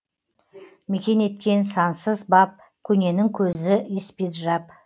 мекен еткен сансыз бап көненің көзі испиджаб